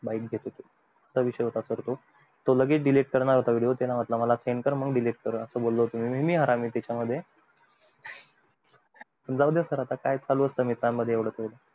हा विषय होता तो लगेच delete करणार होता तो मी बोलो send कर मग delete कर असं बोलो होतो पण जाऊदे आता काय चालू असत मित्रानं मध्ये येवढ